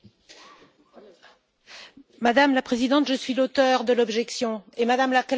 Madame la Présidente, je suis l'auteure de l'objection et Mme la Commissaire vient de prendre la parole.